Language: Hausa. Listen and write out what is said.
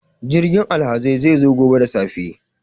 Jirgin alhazai zai zo gobe da safe.